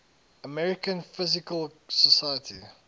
american physical society